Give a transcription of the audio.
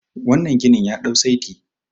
wannan ginin ya dau saiti